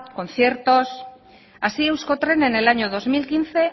conciertos así euskotren en el año dos mil quince